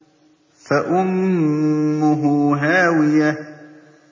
فَأُمُّهُ هَاوِيَةٌ